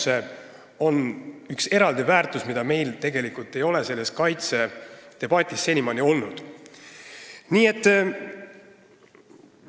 See on eraldi väärtus, mis ei ole meil tegelikult kaitsekulutuste debatis senimaani jutuks olnud.